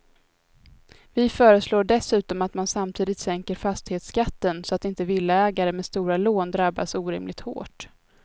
Vi föreslår dessutom att man samtidigt sänker fastighetsskatten så att inte villaägare med stora lån drabbas orimligt hårt.